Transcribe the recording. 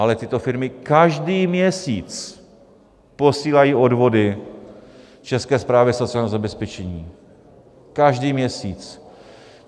Ale tyto firmy každý měsíc posílají odvody České správě sociálního zabezpečení, každý měsíc.